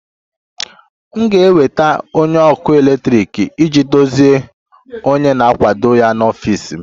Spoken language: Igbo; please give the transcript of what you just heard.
M ga-enweta onye ọkụ eletrik iji dozie onye na-akwado ya n'ọfịs m